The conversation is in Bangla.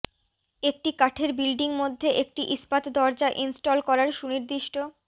একটি কাঠের বিল্ডিং মধ্যে একটি ইস্পাত দরজা ইনস্টল করার সুনির্দিষ্ট